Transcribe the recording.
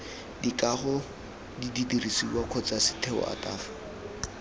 dikago didirisiwa kgotsa setheo ataf